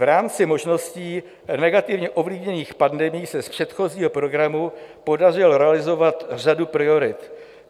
V rámci možností negativně ovlivněných pandemií se z předchozího programu podařilo realizovat řadu priorit.